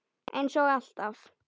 Eins og alltaf.